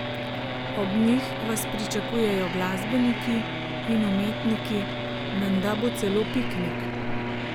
Ob njih vas pričakujejo glasbeniki in umetniki, menda bo celo piknik.